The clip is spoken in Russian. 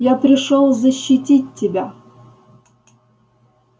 я пришёл защитить тебя